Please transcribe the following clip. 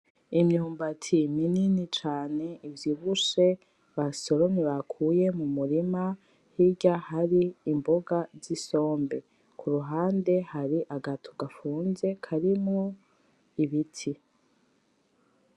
Imyumbati minini cane ivyibushe basoromye bakuye mumurima, hirya hari imboga zisombe. Kuruhandehari agatu gafunze karimwo ibiti.